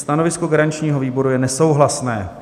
Stanovisko garančního výboru je nesouhlasné.